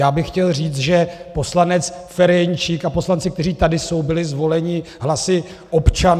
Já bych chtěl říct, že poslanec Ferjenčík a poslanci, kteří tady jsou, byli zvoleni hlasy občanů.